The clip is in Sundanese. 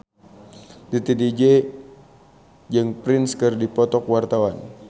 Titi DJ jeung Prince keur dipoto ku wartawan